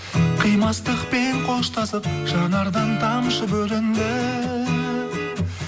қимастықпен қоштасып жанардан тамшы бөлінді